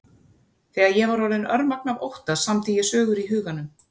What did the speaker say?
Þegar ég var orðin örmagna af ótta samdi ég sögur í huganum.